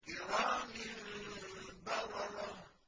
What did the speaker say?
كِرَامٍ بَرَرَةٍ